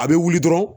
A bɛ wuli dɔrɔn